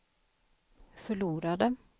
förlorade